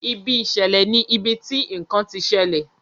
Ibi ìṣẹ̀lẹ̀ ní ibití nkán tí ṣẹlẹ.